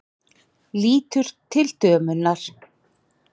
Lítur til dömunnar.